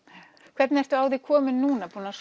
hvernig ertu á þig komin núna búin að